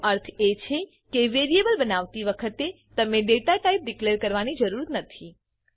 એનો અથ એ છે કે વેરીએબલ બનાવતી વખતે તમને ડેટાટાઇપ ડીકલેર કરવાની જરૂરત નથી